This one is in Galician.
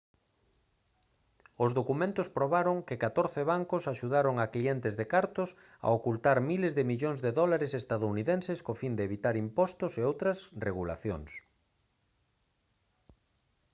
os documentos probaron que catorce bancos axudaron a clientes de cartos a ocultar miles de millóns de dólares estadounidenses co fin de evitar impostos e outras regulacións